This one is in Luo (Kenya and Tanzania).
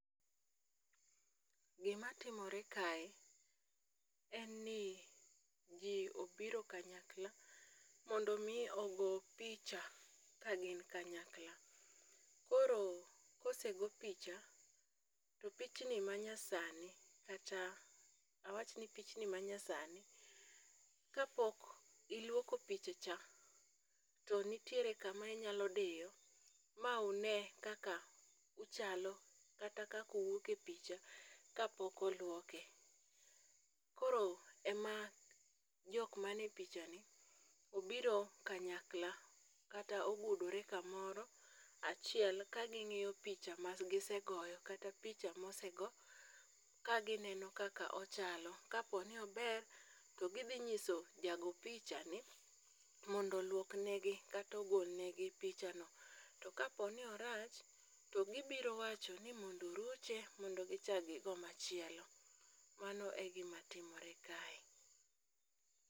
Gimatimore kae, en ni ji obiro kanyakla mondo omi ogo picha ka gin kanyakla, koro kosego picha, pichni manyasani kata awachni pichni manyasani, kapok ilwoko picha cha, to nitiere kama inyalo diyo, ma une kaka uchalo kata kaka uwuok e picha kapok olwoke. Koro ema jok mane pichani obiro kanyakla kata ogudore kamoro achiel kaging'iyo picha magisegoyo kata picha mosego ka gineno kaka ochalo, kapo ni ober, to gidhi nyiso jago picha ni mondo olwok negi kata ogol negi pichano, to kapo ni orach, to gibiro wacho ni mondo oruche mondo gichak gigo machielo. Mano e gimatimore kae.